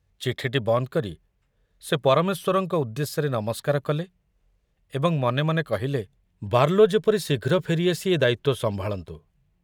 ଚିଠିଟି ବନ୍ଦ କରି ସେ ପରମେଶ୍ୱରଙ୍କ ଉଦ୍ଦେଶ୍ୟରେ ନମସ୍କାର କଲେ ଏବଂ ମନେ ମନେ କହିଲେ, ବାର୍ଲୋ ଯେପରି ଶୀଘ୍ର ଫେରି ଆସି ଏ ଦାୟିତ୍ୱ ସମ୍ଭାଳନ୍ତୁ।